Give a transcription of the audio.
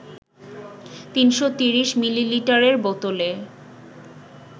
৩৩০ মিলিলিটারের বোতলে